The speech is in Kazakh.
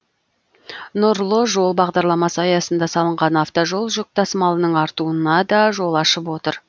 нұрлы жол бағдарламасы аясында салынған автожол жүк тасымалының артуына да жол ашып отыр